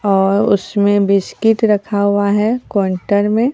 और उसमें बिस्किट रखा हुआ है काउंटर में।